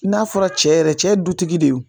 N'a fɔra cɛ yɛrɛ cɛ dutigi de ye